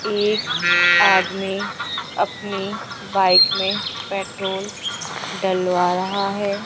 एक आदमी अपनी बाइक मे पेट्रोल डलवा रहा है।